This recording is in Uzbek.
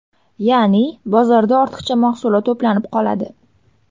Ya’ni bozorda ortiqcha mahsulot to‘planib qoladi.